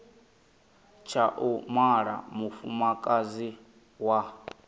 tsha u mala mufumakadzi wa